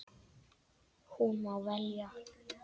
Hún má velja.